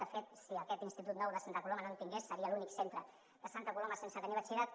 de fet si aquest institut nou de santa coloma no en tingués seria l’únic centre de santa coloma sense tenir batxillerat